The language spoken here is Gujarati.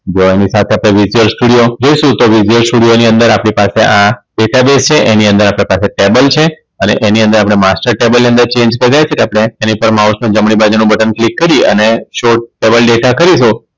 જો એની સાથે આપણે જઈશું તો Studio ની અંદર આપણે પાસે આ Data Base છે એની અંદર આપણે પાસે ટેબલ છે અને એની અંદર આપણે master table ની અંદર Change કરીએ છીએ એની ઉપર Mouse ની જમણી બાજુ નું બટન Click કરીએ અને Double data કરીહો